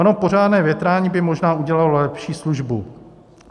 Ono pořádné větrání by možná udělalo lepší službu.